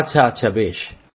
আচ্ছা আচ্ছা বেশ